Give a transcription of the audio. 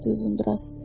Dedi uzun-duraz.